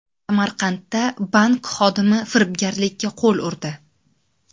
Samarqandda bank xodimi firibgarlikka qo‘l urdi.